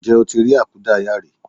Ǹjẹ́ o ti rí àkúdáàyá rí?